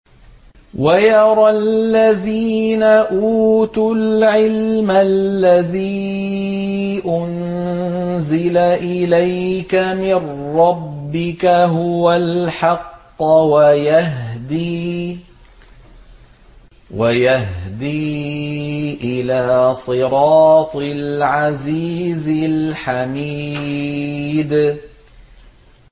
وَيَرَى الَّذِينَ أُوتُوا الْعِلْمَ الَّذِي أُنزِلَ إِلَيْكَ مِن رَّبِّكَ هُوَ الْحَقَّ وَيَهْدِي إِلَىٰ صِرَاطِ الْعَزِيزِ الْحَمِيدِ